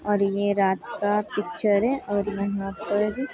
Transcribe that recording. और ये रात का पिक्चर है और यहाँ पर --